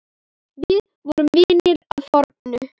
Við vorum vinir að fornu.